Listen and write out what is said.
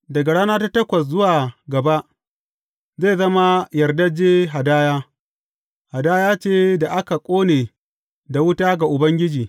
Daga rana ta takwas zuwa gaba, zai zama yardajje hadaya, hadaya ce da aka ƙone da wuta ga Ubangiji.